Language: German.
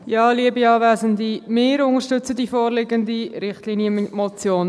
Wir unterstützen die vorliegende Richtlinienmotion.